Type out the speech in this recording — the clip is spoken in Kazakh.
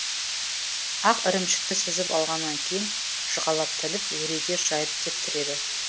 ақ ірімшікті сүзіп алғаннан кейін жұқалап тіліп өреге жайып кептіреді